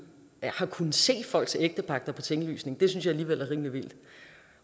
har kunnet se folks ægtepagter på tinglysningen det synes jeg alligevel er rimelig vildt